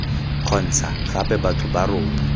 kgontsha gape batho ba rona